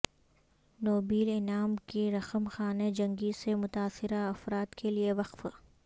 Nobel انعام کی رقم خانہ جنگی سے متاثرہ افراد کے لیے وقف